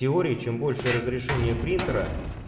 теории чем больше разрешение принтера